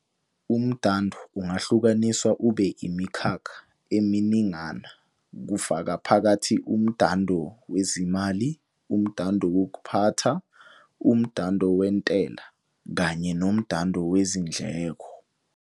Umdando ungahlukaniswa ube imikhakha eminingana kufaka phakathi umdando wezezimali, umdando wokuphatha, umdando wentela kanye nomdando wezindleko.